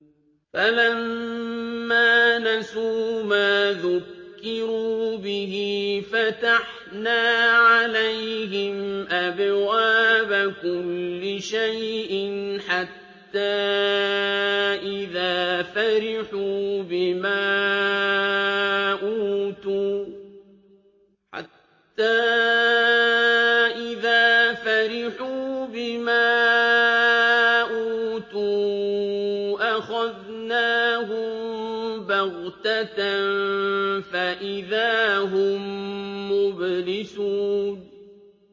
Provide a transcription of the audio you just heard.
فَلَمَّا نَسُوا مَا ذُكِّرُوا بِهِ فَتَحْنَا عَلَيْهِمْ أَبْوَابَ كُلِّ شَيْءٍ حَتَّىٰ إِذَا فَرِحُوا بِمَا أُوتُوا أَخَذْنَاهُم بَغْتَةً فَإِذَا هُم مُّبْلِسُونَ